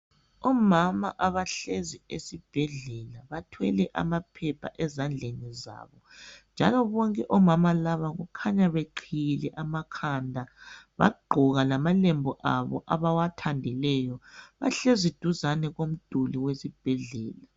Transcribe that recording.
Omama abahlezi esibhedlela bathwele amaphepha ezandleni zabo njalo bonke omama laba kukhanya beqhiyile amakhanda bagqoka lamalembu abo abawathandeleyo bahlezi duzane komduli wesibhendlela.